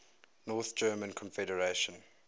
north german confederation